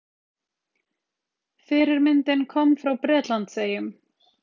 Fyrirmyndin kom frá Bretlandseyjum.